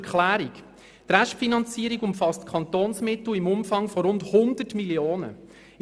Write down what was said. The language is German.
Die Restfinanzierung umfasst Kantonsmittel im Umfang von rund 100 Mio. Franken.